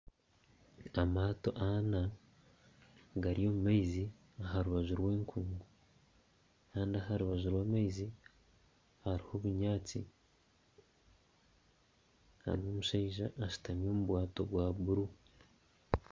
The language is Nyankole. Amaato ana gari omu maizi aha rubaju rw'enkungu Kandi aha rubaju rwa maizi hariho obunyaansi, hariho omushaija ashutami omu bwato bwa bururu.